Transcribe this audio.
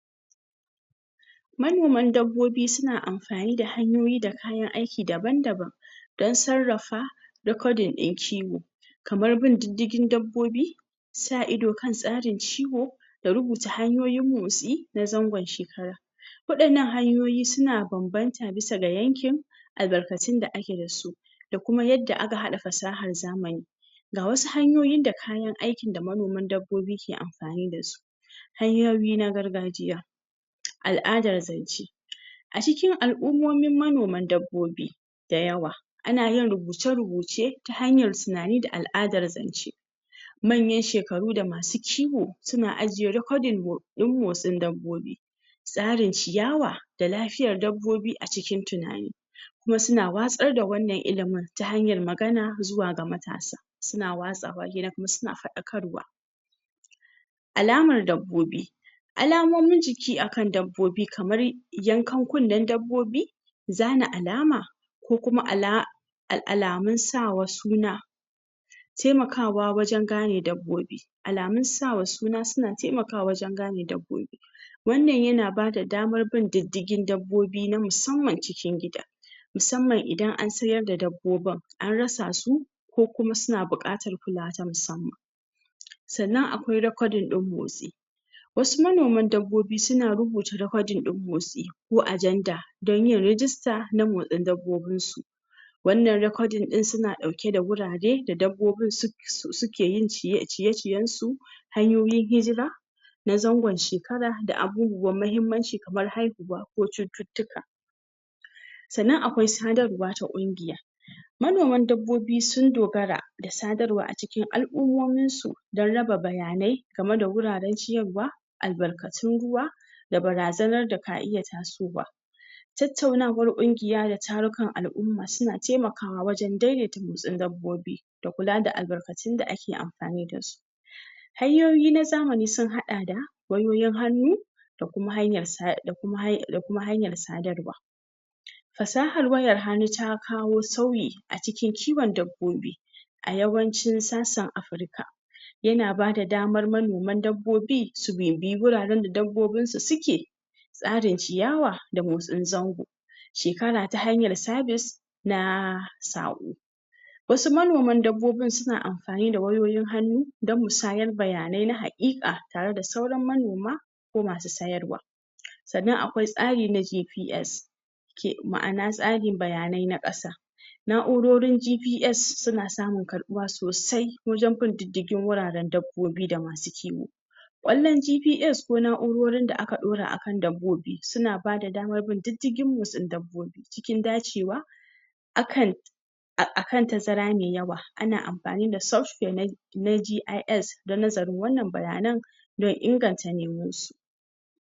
manoman kifi suna amfani da hanyoyi da kayan aiki daban daban dan sarrafa recording din kiwo kamar bin diddigin dabbobi sa ido kan tsarin kiwo da rubuta hanyoyin motsi na zangon wa 'yannan hanyoyi suna banbanta bisa ga yankin albarkatun da ake dasu da kuma yadda hada fasahar zamanin ga wasu hanyoyi da kayan aikin da manoman dabbobi ke amfani dasu hanyoyi na gargajiya al'ada zan ce a cikin al'umomin manoman dabbobi da yawa ana yin rubuce rubuce ta hanyar tunani da al'adar zance manyan shekaru da masu kiwo suna ajiye recording din motsin dabbobi tsarin ciyawa da lafiyar dabbobi a cikin tunani kuma suna watsar da wannan ilimin ta hanyar magana zuwa ga matasa suna watsa wannan suna fadakarwa alamar dabbobi alamomin jiki akan dabbobi kamar yanakan kunnen dabbobi zana alama ko kuma alamun sa wa suna taimakawa wajen gane dabbobi alamun sa wa suna suna taimakawa wajen gane dabbobi wannan yana ba damar bin diddigi dabbobi na musamman cikin gida musamman idan an siyar da dabbobin an rasa su ko kuma suna bukatar kula wa na musamman sannan akwai recording din motsi wasu manoman dabbobi suna rubuta recording din motsi wa ajenda dan yin rejista na motsin dabbobin su wannan recording suna dauke da gurare da dabbobin su suke yin ciye ciyen su hanyoyin na zangon shekara da abubuwan mahimmanci kamar haihuwa ko cututtuka sannan akwai sadar wa na kungiya manoman dabbobi sun dogara da sadar wa a cikin al'umomin su dan raba bayanai game da wuraren ciyar wa albarkatun ruwa da bazanar da ka iya taso wa tattaunawar kungiya da tarukan al'uma suna taimaka wajen daidaita motsin dabbobi da kula da labarkatun da ake kula da su hanyoyin zamani sun hada da wayoyin hannu da kuma hanyar sadarwa fasahar wayan hannu ta kawo sauyi a cikin kiwan dabbobi a yawancin sassan africa yana bada damar manoman dabbobi su bibiyi guraren da dabbobin su suke tsarin ciyawa da motsin zango shekara ta hanyar service na samu wasu manoman dabbobin suna amfani wayoyin hannu dan musyar bayanai na hakika tare da sauran monoma ko masu sayarwa sannan akwai tsari na gps ma'ana tsarin bayanai na kasa na'urorin gps suna samun karbuwa sosai wajen bin diddigin wuraren dabbobi da ma sukeyi wannan gps ko na'urorin da aka daura akan dab bobi suna bada damar bin diddin motsin dabbobi cikin dace wa akan akan tazara mai yawa ana amfani da software na jis dan nazarin wannan bayanan da inganta (?????)